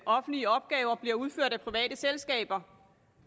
offentlige opgaver bliver udført af private selskaber